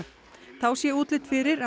þá sé útlit fyrir að